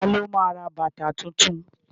Ta ló ma ra bàtà tuntun?